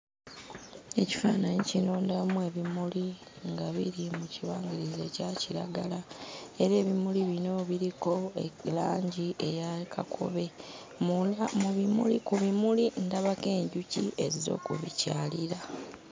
Ekifaananyi kino ndabamu ebimuli nga biri mu kibangirizi ekya kiragala era ebimuli bino biriko langi eya kakobe. Mwonna mu bimuli ku bimuli ndabako enjuki ezze okubikyalira.